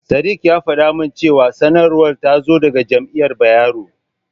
Sadik ya faɗa min cewa sanarwar ta zo daga Jami'ar Bayero.